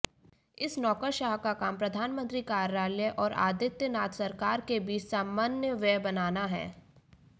इस नौकरशाह का काम प्रधानमंत्री कार्यालय और आदित्यनाथ सरकार के बीच समन्वय बनाना है